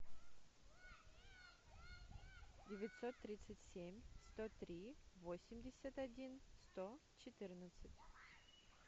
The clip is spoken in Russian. девятьсот тридцать семь сто три восемьдесят один сто четырнадцать